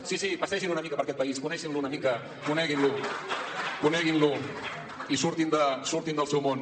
sí sí passegin una mica per aquest país coneguin lo una mica coneguin lo coneguin lo i surtin del seu món